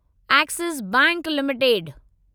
axis bank limited